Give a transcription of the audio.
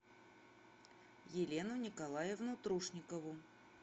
елену николаевну трушникову